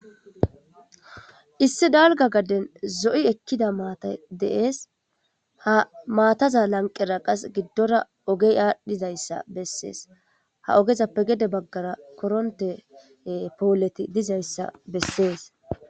Issi dalgga gaden zo7i ekkida maatay de7ees, ha maataza lanqera giddora ogey aadhidayssa besees, ha ogezappe gede baggara korontte pooley dizayssa besees.